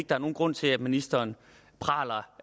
der er nogen grund til at ministeren praler